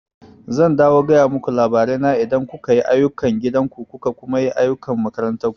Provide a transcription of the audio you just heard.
Zan dawo gaya muku labarai na idan kuka yi ayukan gidan ku kuka kuma yi ayukan makarantar ku